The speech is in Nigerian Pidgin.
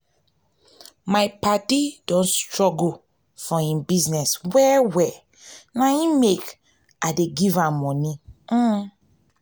my paddy don struggle for im business well-well na im make i give am moni .um